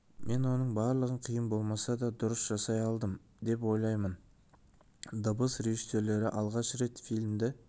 мен оның барлығын қиын болса да дұрыс жасай алдым деп ойлаймын дыбыс режиссерлері алғаш рет фильмді